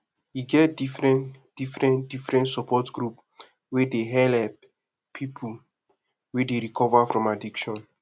e get differen differen differen support group wey dey helep pipu wey dey recover from addiction